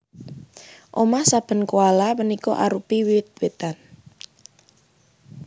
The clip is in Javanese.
Omah saben koala punika arupi wit witan